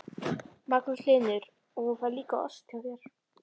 Magnús Hlynur: Og hún fær líka ost hjá þér?